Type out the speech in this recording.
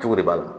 Jogo de b'a la